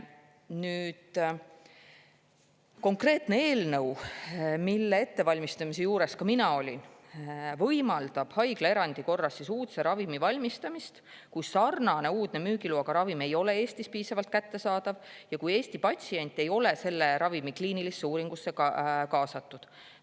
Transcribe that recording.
Konkreetne eelnõu, mille ettevalmistamise juures ka mina olin, võimaldab haiglaerandi korras uudse ravimi valmistamist, kui sarnane uudne müügiloaga ravim ei ole Eestis piisavalt kättesaadav ja kui Eesti patsient ei ole selle ravimi kliinilisse uuringusse kaasatud.